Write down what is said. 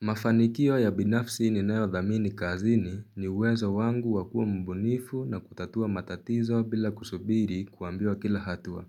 Mafanikio ya binafsi ninayodhamini kazini ni uwezo wangu wa kuwa mbunifu na kutatua matatizo bila kusubiri kuambiwa kila hatua.